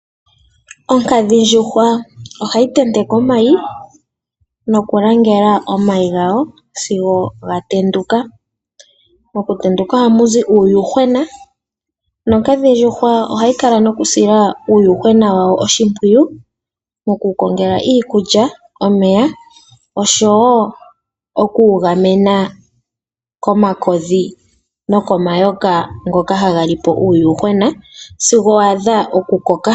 Onkadhindjuhwa ohayi tenteke omayi nokulangela omayi gayo sigo ga tenduka. Mokutenduka ohamu zi uuyuhwena nonkadhindjuhwa ohayi kala noku sila uuyuhwena wayo oshimpwiyu moku wu kongela iikulya, omeya oshowo okuwu gamena komakodhi nokomayoka ngoka haga li po uuyuhwena sigo wa adha oku koka.